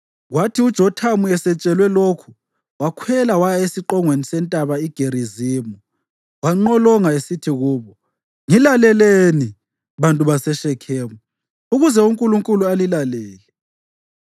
Kwathi uJothamu esetshelwe lokhu wakhwela waya esiqongweni seNtaba iGerizimu wanqolonga esithi kubo, “Ngilalelani, bantu baseShekhemu, ukuze uNkulunkulu alilalele.